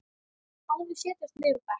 Aðrir setjast niður á bekk.